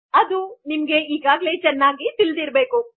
ಅದು ಈಗಾಗಲೆ ನಿಮಗೆ ಚೆನ್ನಾಗಿ ತಿಳಿದಿರಬೇಕು